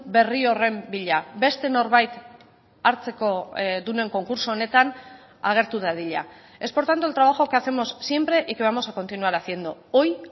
berri horren bila beste norbait hartzekodunen konkurtso honetan agertu dadila es por tanto el trabajo que hacemos siempre y que vamos a continuar haciendo hoy